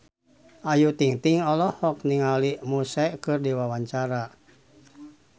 Ayu Ting-ting olohok ningali Muse keur diwawancara